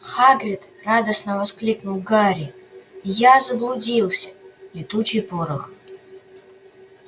хагрид радостно воскликнул гарри я заблудился летучий порох